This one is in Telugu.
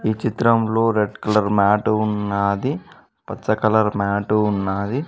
చిత్రంలో రెడ్ కలర్ మ్యాటు వున్నాది పచ్చ కలర్ మ్యాటు ఉన్నాది.